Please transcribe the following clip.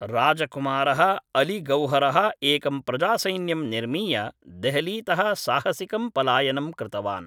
राजकुमारः अली गौहरः एकं प्रजासैन्यं निर्मीय देहलीतः साहसिकं पलायनं कृतवान्।